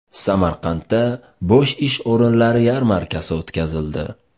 Samarqandda bo‘sh ish o‘rinlari yarmarkasi o‘tkazildi.